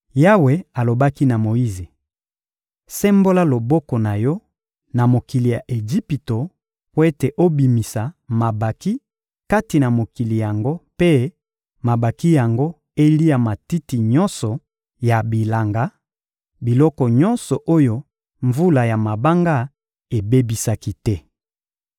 Yawe alobaki na Moyize: — Sembola loboko na yo na mokili ya Ejipito mpo ete obimisa mabanki kati na mokili yango mpe mabanki yango elia matiti nyonso ya bilanga, biloko nyonso oyo mvula ya mabanga ebebisaki te.